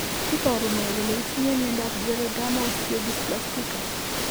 Iporu ne kole itinye miondap Geroderma osteodysplastica?